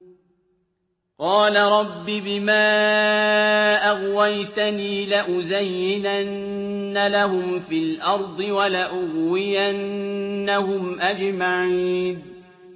قَالَ رَبِّ بِمَا أَغْوَيْتَنِي لَأُزَيِّنَنَّ لَهُمْ فِي الْأَرْضِ وَلَأُغْوِيَنَّهُمْ أَجْمَعِينَ